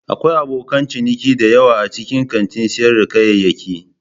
Akwai abokan ciniki da yawa a cikin kantin sayar da kayayyaki.